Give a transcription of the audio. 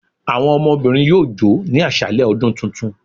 Awọn ọmọbirin yọọ jò ni aṣalẹ ọdún túntún